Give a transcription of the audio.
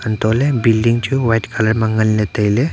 anto le building chu white colour ma ngan le taile.